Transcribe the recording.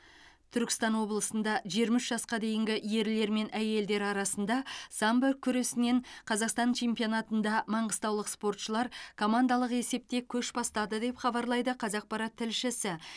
түркістан облысында жиырма үш жасқа дейінгі ерлер мен әйелдер арасында самбо күресінен қазақстан чемпионатында маңғыстаулық спортшылар командалық есепте көш бастады деп хабарлайды қазақпарат тілшісі